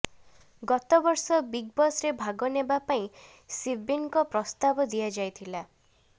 ଗତବର୍ଷ ବିଗ୍ ବସ୍ରେ ଭାଗ ନେବା ପାଇଁ ଶିବିନ୍ଙ୍କୁ ପ୍ରସ୍ତାବ ଦିଆଯାଇଥିଲା